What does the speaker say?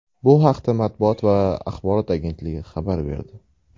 Bu haqda Matbuot va axborot agentligi xabar berdi .